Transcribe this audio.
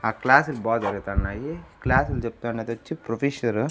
ఆ క్లాసులు బా జరుగుతున్నాయి క్లాసులు చెప్తాండేది వచ్చి ప్రొఫెసరు .